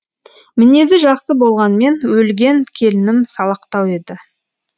мінезі жақсы болғанмен өлген келінім салақтау еді